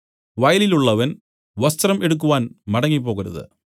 വയലിലുള്ളവൻ വസ്ത്രം എടുക്കുവാൻ മടങ്ങിപ്പോകരുത്